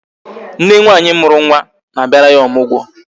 Nne nwaanyị mụrụ nwa na a bịara ya ọmụgwọ